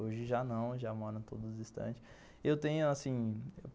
Hoje já não, já moram todos distantes. Eu tenho assim,